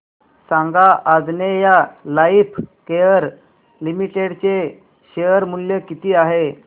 सांगा Anjaneya Lifecare Limited चे share मूल्य किती आहे